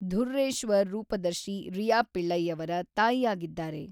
ಧುರ್ರೇಶ್ವರ್ ರೂಪದರ್ಶಿ ರಿಯಾ ಪಿಳ್ಳೈಯವರ ತಾಯಿಯಾಗಿದ್ದಾರೆ.